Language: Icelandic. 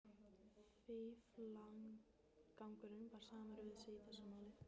Fíflagangurinn var samur við sig í þessu máli.